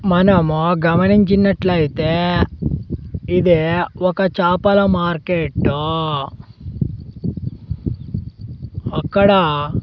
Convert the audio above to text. మనము గమనించినట్లయితే ఇది ఒక చాపల మార్కెట్టూ అక్కడ--